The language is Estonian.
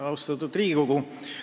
Austatud Riigikogu!